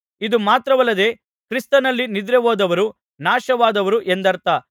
ಇದು ಮಾತ್ರವಲ್ಲದೆ ಕ್ರಿಸ್ತನಲ್ಲಿ ನಿದ್ರೆಹೋದವರು ನಾಶವಾದರು ಎಂದರ್ಥ